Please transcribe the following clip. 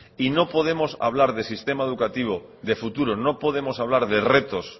y no podemos de hablar de sistema educativo de futuro no podemos hablar de retos